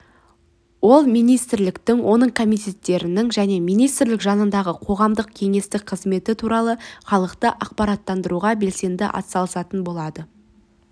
ол министрліктің оның комитеттерінің және министрлік жанындағы қоғамдық кеңестің қызметі туралы халықты ақпараттандыруға белсенді атсалысатын болады